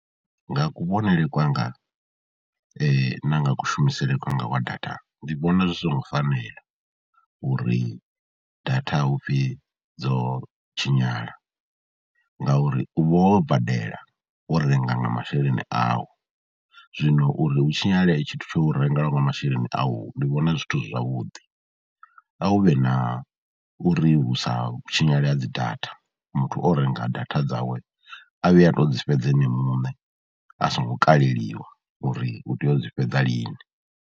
Nga kuvhonele kwanga na nga kushumisele kwanga wa data ndi vhona zwi songo fanela uri data hu pfhi dzo tshinyala ngauri u vha wo badela, wo renga nga masheleni au. Zwino uri hu tshinyale tshithu tsha u rengelwa nga masheleni au ndi vhona zwithu zwavhuḓi, a hu vhe na uri hu sa tshinyale ha dzi data, muthu o renga data dzawe a vhuye a tou dzi fhedza ene muṋe a songo kaleliwa uri u tea u dzi fhedza lini.